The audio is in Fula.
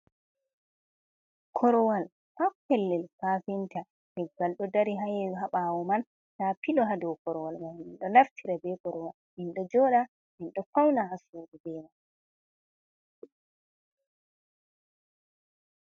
Korowal haa pellel kafinta, leggal ɗo dari haye haa ɓawo man, nda pilo ha dow korowal man. Min ɗo naftira be korowal, min ɗo joɗa, min ɗo fauna haa suudu be man.